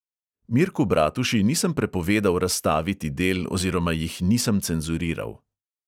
Mirku bratuši nisem prepovedal razstaviti del oziroma jih nisem cenzuriral.